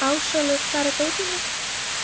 Hermína, ferð þú með okkur á miðvikudaginn?